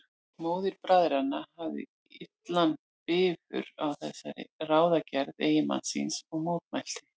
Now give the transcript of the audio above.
Móðir bræðranna hafði illan bifur á þessari ráðagerð eiginmanns síns og mótmælti.